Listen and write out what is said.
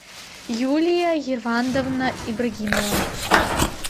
юлия евандовна ибрагимова